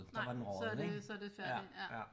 Nej så det så det færdigt ja